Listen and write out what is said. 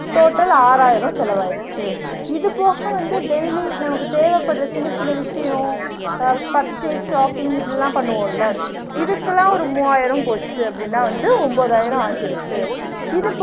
Total ஆறாயிரம் செலவாயிருச்சு, இது போக வந்து daily நமக்கு தேவப்படுற சின்ன சின்ன விஷியம் அஹ் purchase shopping இப்டிலாம் பண்ணுவோம்ல, இதுக்குலாம் ஒரு மூவாயிரம் போச்சு அப்டின்னா வந்து ஒன்பதாயிரம் ஆகிருச்சு.